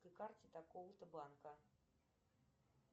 карте такого то банка